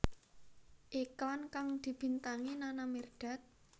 Iklan kang dibintangi Nana Mirdad